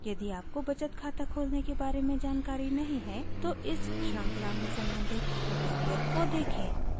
यदि आपको बचत खाता खोलने के बारे में जानकारी नहीं है तो इस श्रृंखला में सम्बंधित ट्यूटोरियल को देखें